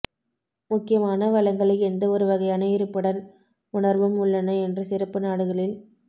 முக்கியமான வளங்களை எந்த ஒரு வகையான இருப்புடன் உணர்வும் உள்ளன என்று சிறப்பு நாடுகளில்